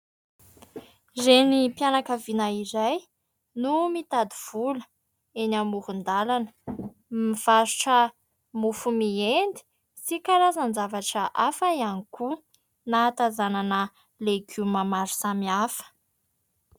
Renim-pianakaviana iray no mitady vola eny amoron-dalana, mivarotra mofo mendy sy karazan-javatra hafa ihany koa ; nahatazanana legioma maro samy hafa.